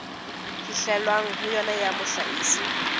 fihlwang ho yona ya mohlahisi